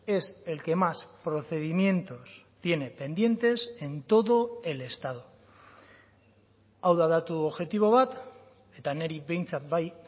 es el que más procedimientos tiene pendientes en todo el estado hau da datu objektibo bat eta niri behintzat bai